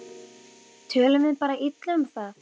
Tölum við bara illa um það?